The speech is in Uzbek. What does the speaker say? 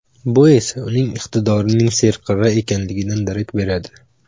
Bu esa uning iqtidorining serqirra ekanligidan darak beradi.